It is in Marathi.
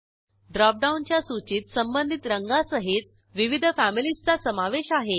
ड्रॉपडाऊनच्या सूचीत संबंधित रंगांसहित विविध फॅमिलीजचा समावेश आहे